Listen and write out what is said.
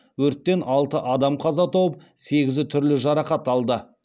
өрттен алты адам қаза тауып сегізі түрлі жарақат алды